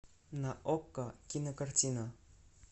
на окко кинокартина